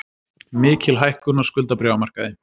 Mikil hækkun á skuldabréfamarkaði